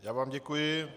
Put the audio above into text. Já vám děkuji.